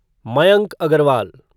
Mayank Agarwal